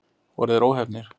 Voru þeir óheppnir?